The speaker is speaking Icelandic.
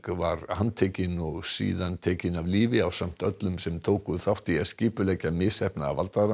var handtekinn og síðar tekinn af lífi ásamt öllum þeim sem tóku þátt í að skipuleggja misheppnaða